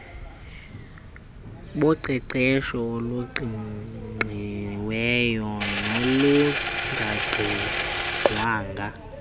boqeqesho oluqingqiweyo nolungaqingqwanga